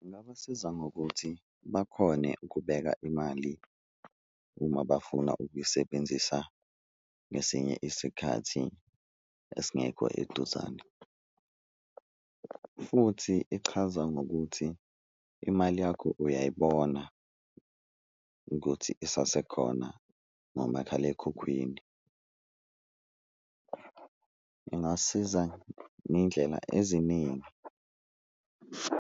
Ngingabasiza ngokuthi bakhone ukubeka imali uma bafuna ukuyisebenzisa ngesinye isikhathi esingekho eduzane, futhi ichaza ngokuthi imali yakho uyayibona ukuthi isasekhona ngomakhalekhukhwini ingasiza ngeyindlela eziningi.